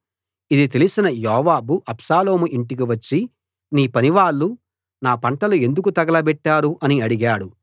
ఇది తెలిసిన యోవాబు అబ్షాలోము ఇంటికి వచ్చి నీ పనివాళ్ళు నా పంటలు ఎందుకు తగలబెట్టారు అని అడిగాడు